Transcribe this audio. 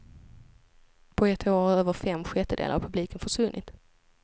På ett år har över fem sjättedelar av publiken försvunnit.